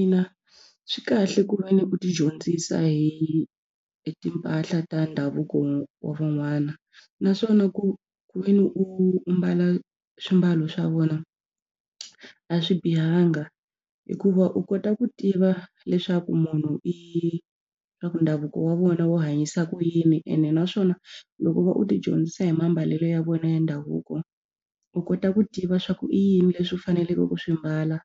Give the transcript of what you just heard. Ina, swi kahle ku ve ni u tidyondzisa hi timpahla ta ndhavuko wa van'wana naswona ku ku ve ni u mbala swimbalo swa vona a swi bihanga hikuva u kota ku tiva leswaku munhu i swa ku ndhavuko wa vona wo hanyisa ku yini ene naswona loko u va u tidyondzisa hi mambalelo ya vona ya ndhavuko u kota ku tiva swa ku i yini leswi u faneleke ku swi mbala